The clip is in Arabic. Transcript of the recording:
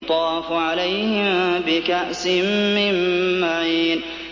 يُطَافُ عَلَيْهِم بِكَأْسٍ مِّن مَّعِينٍ